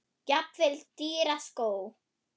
Jafnvel dýra skó?